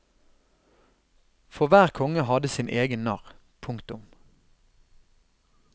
For hver konge hadde sin egen narr. punktum